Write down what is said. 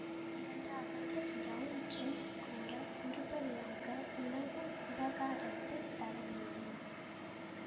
இரண்டாவது round drinks கூட உருப்படியாக உளவு விவகாரத்தைத் தரவில்லை